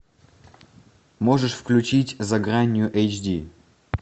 можешь включить за гранью эйч ди